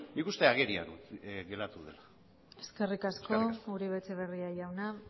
nik uste agerian geratu dela eskerrik asko eskerrik asko uribe etxebarria jauna